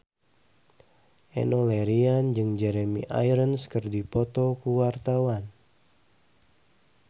Enno Lerian jeung Jeremy Irons keur dipoto ku wartawan